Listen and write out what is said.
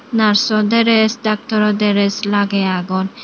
nurso dress doctoro dress lagey agon.